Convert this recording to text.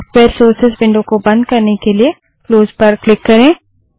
software sources window को बंद करने के लिए क्लोजक्लोजपर क्लिक करें